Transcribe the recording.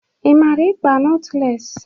Ị mara ịkpa notles?